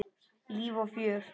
Líf og fjör.